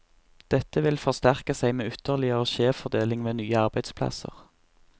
Dette vil forsterke seg med ytterligere skjevfordeling ved nye arbeidsplasser.